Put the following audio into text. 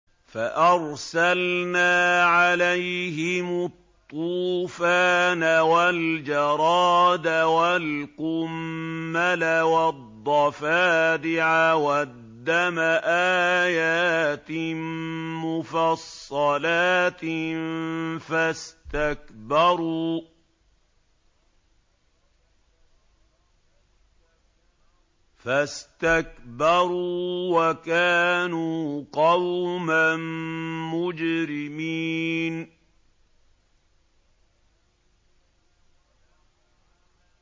فَأَرْسَلْنَا عَلَيْهِمُ الطُّوفَانَ وَالْجَرَادَ وَالْقُمَّلَ وَالضَّفَادِعَ وَالدَّمَ آيَاتٍ مُّفَصَّلَاتٍ فَاسْتَكْبَرُوا وَكَانُوا قَوْمًا مُّجْرِمِينَ